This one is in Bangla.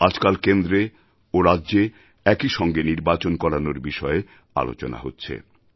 আজকাল কেন্দ্রে ও রাজ্যে একইসঙ্গে নির্বাচন করানোর বিষয়ে আলোচনা হচ্ছে